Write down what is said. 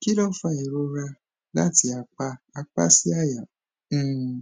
kí ló ń fa ìrora láti apá apá sí àyà um